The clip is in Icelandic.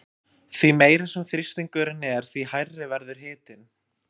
Því meiri sem þrýstingurinn er því hærri verður hitinn.